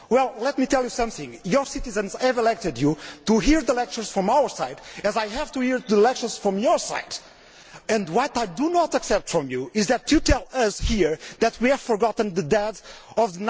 Well, let me tell you something, your citizens have elected you to hear lectures from our side just as I have to hear lectures from your side. What I do not accept from you is that you tell us here that we have forgotten the deaths of